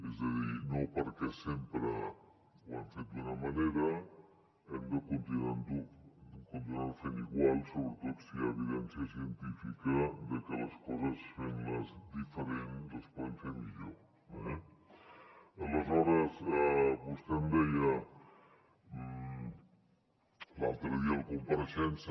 és a dir no perquè sempre ho hem fet d’una manera hem de continuar ho fent igual sobretot si hi ha evidència científica de que les coses fent les diferents les podem fer millor eh aleshores vostè em deia l’altre dia a la compareixença